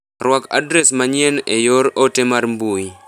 Ruak adres manyien e yor ote mar mbui.